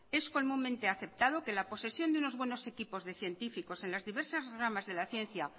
es comúnmente aceptado que la posesión de unos buenos equipos de científicos en las diversas ramas de la ciencia